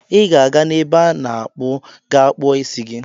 Ị ga-aga n'ebe a na-akpụ ga kpụo isi gi.